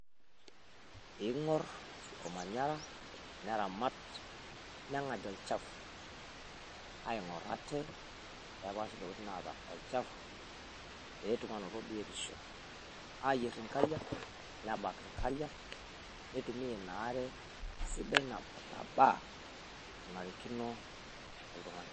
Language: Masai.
Png'orr olmanyara neramat nengadie olchafu, aing'orr ate nepaash intokiting' naata olchafu petuum anoto biotisho, ayieer inkariak ,nebaak inkariak neitumiaa inaare sidai nabaa nana rikino oltungani